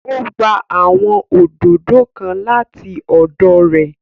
O gba awọn òdodo kàn lati ọdọ rẹ